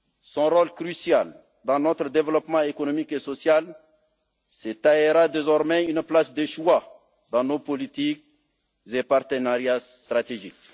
Son rôle crucial dans notre développement économique et social se taillera désormais une place de choix dans nos politiques et partenariats stratégiques.